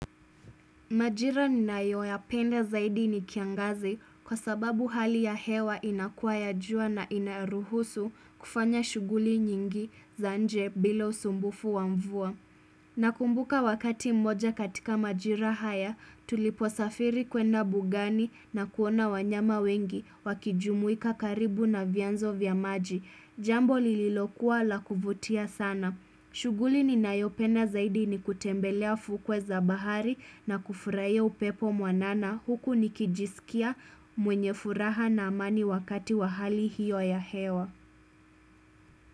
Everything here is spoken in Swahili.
Majira ninayo yapenda zaidi ni kiangazi kwa sababu hali ya hewa inakua ya jua na inaruhusu kufanya shughuli nyingi za nje bila usumbufu wa mvua. Nakumbuka wakati mmoja katika majira haya tulipo safiri kwenda bugani na kuona wanyama wengi wakijumuika karibu na vianzo vya maji. Jambo lililokuwa la kuvutia sana. Shuguli ninayopena zaidi ni kutembelea fukwe za bahari na kufurahia upepo mwanana huku nikijisikia mwenye furaha na amani wakati wa hali hiyo ya hewa.